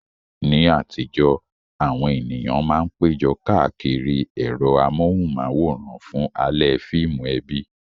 Ní àtijọ́, àwọn ènìyàn máa ń péjọ káàkiri ẹ̀rọ amóhùnmáwòrán fún alẹ́ fíìmù ẹbí.